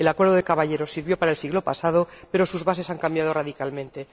El acuerdo de caballeros sirvió para el siglo pasado, pero sus bases han cambiado radicalmente.